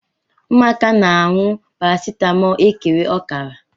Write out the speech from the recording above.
Ụmụaka na-anu paracetamóólú ekere ọkara.